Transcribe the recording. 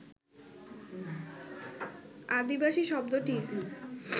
আদিবাসী শব্দটির